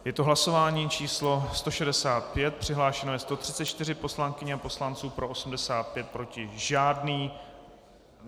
Je to hlasování číslo 165, přihlášeno je 134 poslankyň a poslanců, pro 85, proti žádný.